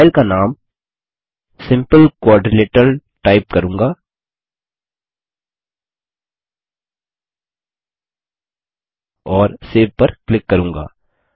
मैं फाइल का नाम सिम्पल क्वाड्रिलेटरल टाइप करूँगा और सेव पर क्लिक करूँगा